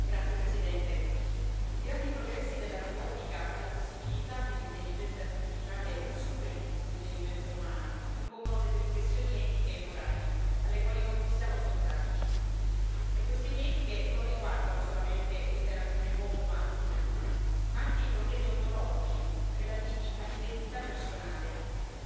Signor Presidente, onorevoli colleghi, i grandi progressi della robotica e la possibilità che l'intelligenza artificiale superi l'intelligenza umana impongono delle riflessioni etiche e morali alle quali non possiamo sottrarci. Le questioni etiche non riguardano solamente l'interazione uomo macchina, ma anche i problemi ontologici relativi all'identità personale,